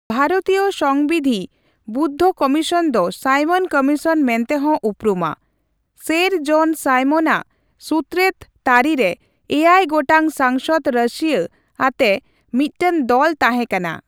ᱵᱷᱟᱨᱚᱛᱤᱭᱚ ᱥᱚᱝᱵᱤᱫᱷᱤ ᱵᱚᱫᱽᱫᱷᱚ ᱠᱚᱢᱤᱥᱚᱱ ᱫᱚ ᱥᱟᱭᱢᱚᱱ ᱠᱚᱢᱤᱥᱚᱱ ᱢᱮᱱᱛᱮᱦᱚᱸ ᱩᱯᱨᱩᱢᱟ, ᱥᱮᱨ ᱡᱚᱱ ᱥᱟᱭᱢᱚᱱ ᱟᱜ ᱥᱩᱛᱨᱮᱫ ᱛᱟᱹᱨᱤ ᱨᱮ ᱮᱭᱟᱭ ᱜᱚᱴᱟᱝ ᱥᱟᱝᱥᱚᱫᱽ ᱨᱟᱹᱥᱤᱭᱟᱹ ᱟᱛᱮ ᱢᱤᱫᱴᱟᱝ ᱫᱚᱞ ᱛᱟᱦᱮᱸᱠᱟᱱᱟ ᱾